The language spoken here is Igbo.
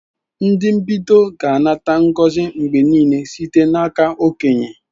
Ndị mbido ga-anata ngozi mgbe niile site n'aka okenye.